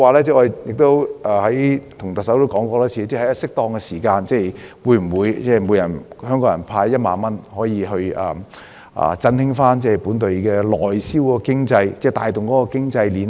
此外，我多次問特首，會否在適當的時候向每位香港市民派發1萬元，以振興內銷經濟，帶動經濟鏈呢？